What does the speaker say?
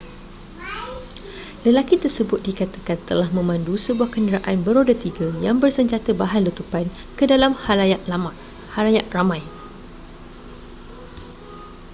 lelaki tersebut dikatakan telah memandu sebuah kenderaan beroda tiga yang bersenjata bahan letupan ke dalam khalayak ramai